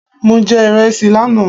Mo jẹ ìresì lánàá